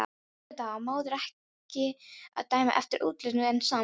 Auðvitað á maður ekki að dæma eftir útlitinu, en samt.